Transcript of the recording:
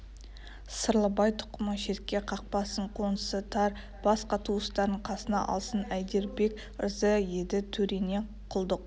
сырлыбай тұқымы шетке қақпасын қонысы тар басқа туыстарын қасына алсын әйдербек ырза еді төреңе құлдық